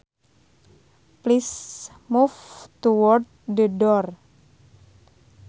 Please move towards the door